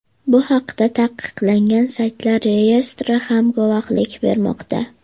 Bu haqda taqiqlangan saytlar reyestri ham guvohlik bermoqda.